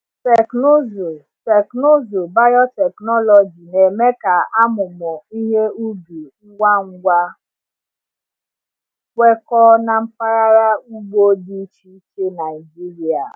Teknụzụ Teknụzụ biotechnology na-eme ka amụmụ ihe ubi ngwa ngwa kwekọọ na mpaghara ugbo dị iche iche Naijiria.